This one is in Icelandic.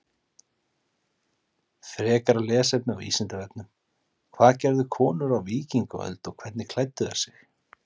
Frekara lesefni á Vísindavefnum: Hvað gerðu konur á víkingaöld og hvernig klæddu þær sig?